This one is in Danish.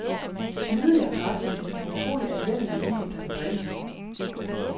Smidig og kraftig, en utrolig anvendelig vin, der kan drikkes nu.